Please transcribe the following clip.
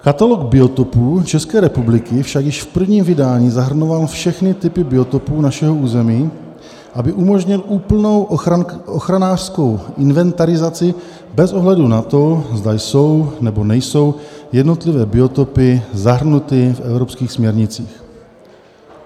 Katalog biotopů České republiky však již v prvním vydání zahrnoval všechny typy biotopů našeho území, aby umožnil úplnou ochranářskou inventarizaci bez ohledu na to, zda jsou, nebo nejsou jednotlivé biotopy zahrnuty v evropských směrnicích."